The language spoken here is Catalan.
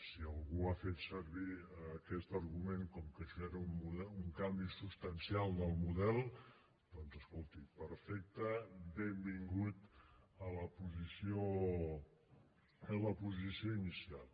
si algú ha fet servir aquest argument com que això era un canvi substancial del model doncs escolti perfecte benvingut a la posició inicial